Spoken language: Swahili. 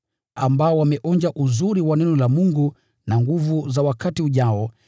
ambao wameonja uzuri wa Neno la Mungu na nguvu za wakati ujao,